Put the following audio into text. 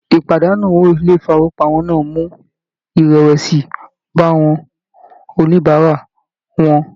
Ìpàdánù owó ilé ifowopamọ náà mú irẹwẹsi bá àwọn oníbárà wọn.